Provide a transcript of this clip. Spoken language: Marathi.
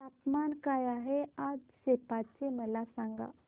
तापमान काय आहे आज सेप्पा चे मला सांगा